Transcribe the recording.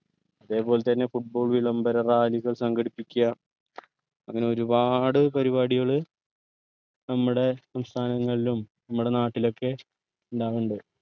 ഇതേ പോലെ തന്നെ football വിളംബര rally കൾ സംഘടിപ്പിക്യ അങ്ങനെ ഒരുപാട് പരിപാടികൾ നമ്മടെ സംസ്ഥാനങ്ങളിലും നമ്മടെ നാട്ടിലൊക്കെ ഇണ്ടാവലിണ്ട്